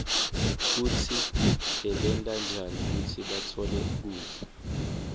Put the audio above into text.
kutsi bebenta njani kutsi batfole kudla